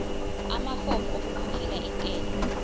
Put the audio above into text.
amafomu okukhokhela intela